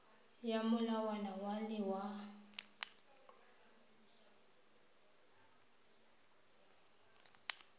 ya molawana wa le wa